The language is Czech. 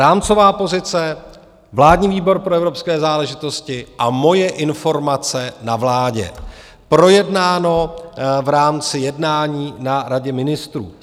Rámcová pozice, vládní výbor pro evropské záležitosti a moje informace na vládě, projednáno v rámci jednání na Radě ministrů.